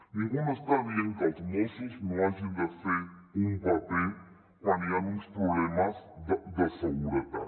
ningú no està dient que els mossos no hagin de fer un paper quan hi han uns problemes de seguretat